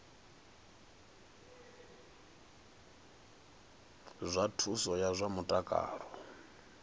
zwa thuso ya zwa mutakalo